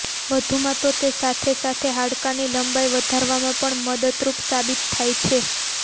વધુ માં તો તે સાથે સાથે હાડકા ની લંબાઈ વધારવામાં પણ મદદરૂપ સાબિત થાય છે